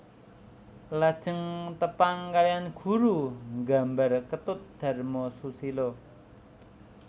Lajeng tepang kalihan guru nggambar Ketut Dharma Susila